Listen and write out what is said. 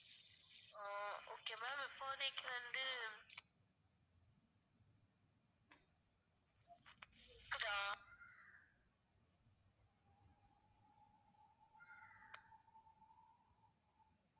ஆஹ் okay ma'am இப்போதைக்கு வந்து கேக்குதா?